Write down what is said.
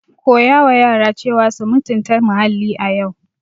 Teach children to respect the environment today.